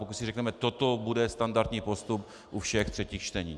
Pokud si řekneme: toto bude standardní postup u všech třetích čtení.